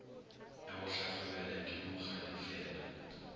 ya go hlahlobela ke mokgadifela